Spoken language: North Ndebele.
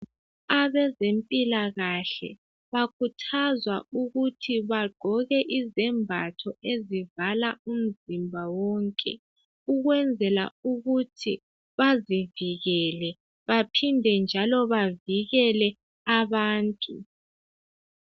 Abezempilakahle bakuthazwa ukuthi bagqoke izembatho ezivala umzimba wonke ukwenzela ukuthi bazivukele baphinde njalo bavikele abantu.